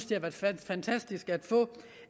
det har været fantastisk at få